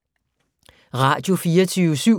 Radio24syv